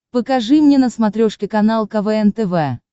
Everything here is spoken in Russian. покажи мне на смотрешке канал квн тв